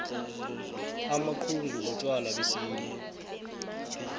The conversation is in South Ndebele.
amaxhugu butjwala besintu